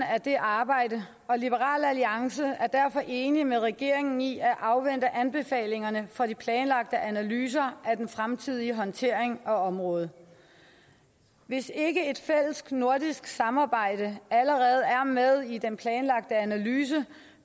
af det arbejde og liberal alliance er derfor enig med regeringen i at afvente anbefalingerne fra de planlagte analyser af den fremtidige håndtering af området hvis ikke et fælles nordisk samarbejde allerede er med i den planlagte analyse